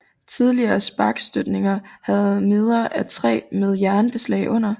Tidlige sparkstøttinger havde meder af træ med jernbeslag under